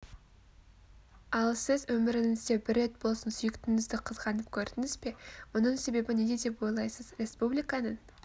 ал сіз өміріңізде бір рет болсын сүйіктіңізді қызғанып көрдіңіз бе мұның себебі неде деп ойлайсыз республиканың